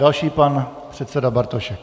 Další - pan předseda Bartošek.